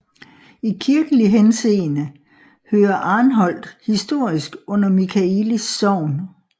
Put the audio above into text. I kirkelig henseende hører Arnholt historisk under Michaelis Sogn